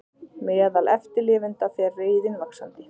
Meðal eftirlifenda fer reiðin vaxandi